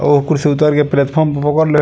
औ उतर के प्लेटफार्म पर पकड़ले।